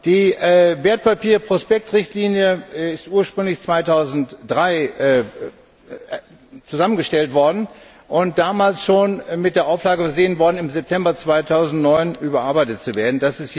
Die Wertpapierprospekt Richtlinie ist ursprünglich 2003 zusammengestellt und damals schon mit der Auflage versehen worden, im September 2009 überarbeitet zu werden.